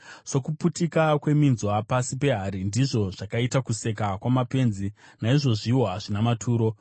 Sokuputika kweminzwa pasi pehari, ndizvo zvakaita kuseka kwamapenzi. Naizvozviwo hazvina maturo.